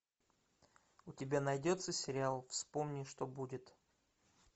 у тебя найдется сериал вспомни что будет